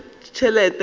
ge a na le tšhelete